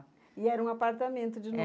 E era um apartamento de novo. É